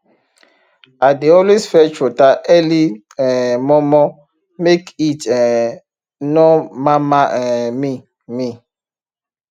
i dey always fetch water early um mor mor make heat um nor mama um me me